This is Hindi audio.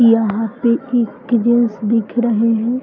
यहाँ पे एक जेंट्स दिख रहे हैं।